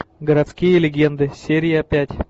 городские легенды серия пять